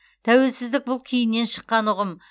тәуелсіздік бұл кейіннен шыққан ұғым